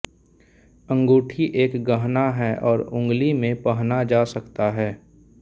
अंगूठी एक गहना है और उंगली में पहना जा सकता है